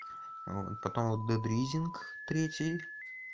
потом вот детрзинг третий